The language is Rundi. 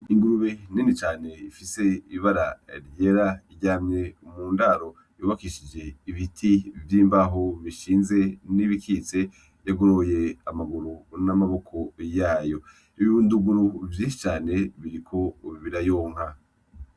Ingurube nini cane ifise ibara ryera iryamye mundaro yubakishije ibiti vy'imbaho bishinze, n'ibikitse yagoroye amaguru n'amaboko yayo. Ibibunduguru vyinshi cane biriko birayonka.